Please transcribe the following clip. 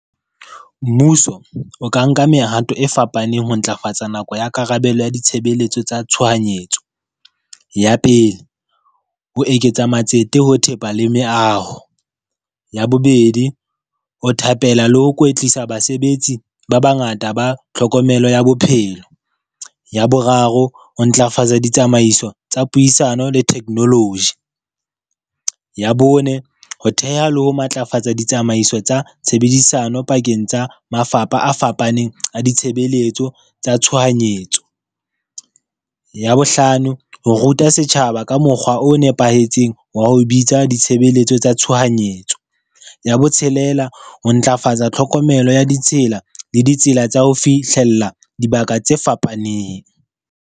Mmuso o ka nka mehato e fapaneng ho ntlafatsa nako ya karabelo ya ditshebeletso tsa tshohanyetso. Ya pele, ho eketsa matsete ho thepa le meaho. Ya bobedi, o thabela le ho kwetlisa basebetsi ba bangata ba tlhokomelo ya bophelo. Ya boraro, ho ntlafatsa ditsamaiso tsa puisano le technology. Ya bone, ho theha le ho matlafatsa ditsamaiso tsa tshebedisano pakeng tsa mafapha a fapaneng a ditshebeletso tsa tshohanyetso. Ya bohlano, ho ruta setjhaba ka mokgwa o nepahetseng wa ho bitsa ditshebeletso tsa tshohanyetso. Ya botshelela, ho ntlafatsa tlhokomelo ya ditsela le ditsela tsa ho fihlella dibaka tse fapaneng.